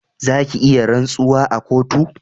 Za ki iya rantsuwa a kotu